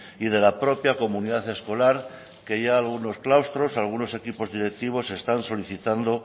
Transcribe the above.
y de la propia comunidad escolar que ya algunos claustros algunos equipos directivos están solicitando